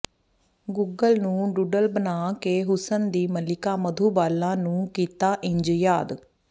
Google ਨੇ doodle ਬਣਾ ਕੇ ਹੁਸਨ ਦੀ ਮਲਿੱਕਾ ਮਧੂਬਾਲਾ ਨੂੰ ਕੀਤਾ ਇੰਝ ਯਾਦ